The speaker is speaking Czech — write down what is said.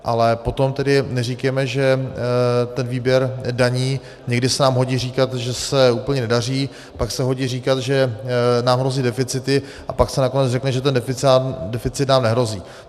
Ale potom tedy neříkejme, že ten výběr daní - někdy se nám hodí říkat, že se úplně nedaří, pak se hodí říkat, že nám hrozí deficity, a pak se nakonec řekne, že ten deficit nám nehrozí.